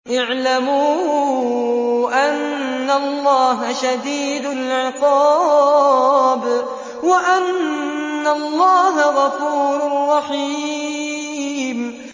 اعْلَمُوا أَنَّ اللَّهَ شَدِيدُ الْعِقَابِ وَأَنَّ اللَّهَ غَفُورٌ رَّحِيمٌ